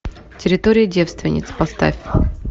территория девственниц поставь